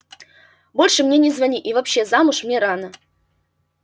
больше мне не звони и вообще замуж мне рано